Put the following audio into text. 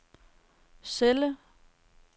celle